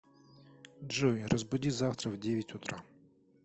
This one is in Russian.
джой разбуди завтра в девять утра